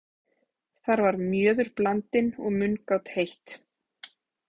Þar var mjöður blandinn og mungát heitt.